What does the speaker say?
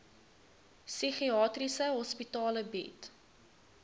psigiatriese hospitale bied